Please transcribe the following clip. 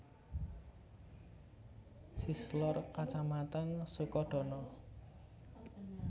Sish lor Kacamatan Sukodono